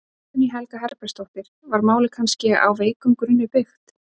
Guðný Helga Herbertsdóttir: Var málið kannski á veikum grunni byggt?